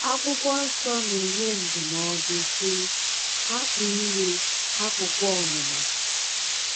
Akwụkwọ Nsọ na-enye ndụmọdụ sị: “ Hapụ iwe, hapụkwa ọnụma.”